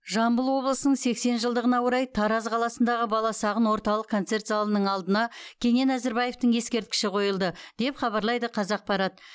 жамбыл облысының сексен жылдығына орай тараз қаласындағы баласағұн орталық концерт залының алдына кенен әзірбаевтың ескерткіші қойылды деп хабарлайды қазақпарат